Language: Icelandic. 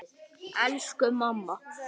Elsku mamma!